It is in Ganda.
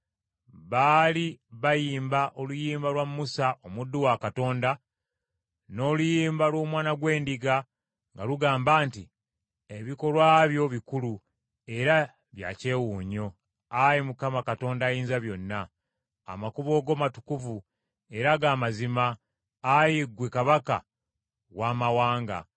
Baali bayimba oluyimba lwa Musa omuddu wa Katonda, n’oluyimba lw’Omwana gw’Endiga nga lugamba nti, “Ebikolwa byo bikulu era bya kyewuunyo, ayi Mukama Katonda Ayinzabyonna. Amakubo go matukuvu era ga mazima, ayi ggwe Kabaka w’amawanga.